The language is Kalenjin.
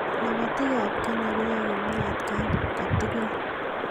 Lobotii ab Kenya koyoe komie atkai kotugul.